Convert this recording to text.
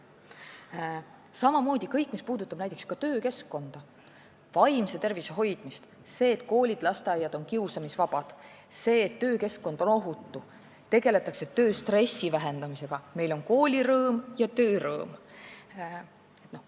Samamoodi kõik see, mis puudutab töökeskkonda ja vaimse tervise hoidmist: koolid ja lasteaiad peavad olema kiusamisvabad, töökeskkond peab olema ohutu, tuleb tegelda tööstressi vähendamisega, siis on meil koolirõõm ja töörõõm.